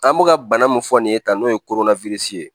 An bɛ ka bana mun fɔ nin ye tan n'o ye ye